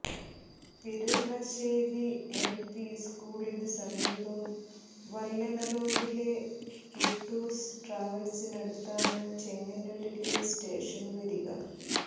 Piralassery L P സ്കൂളിന് സമീപം വല്ലന റോഡിലെ ടുട്ടൂസ് ട്രാവൽസിനടുത്താണ് ചെങ്ങന്നൂരിലെ സ്റ്റേഷൻ വരിക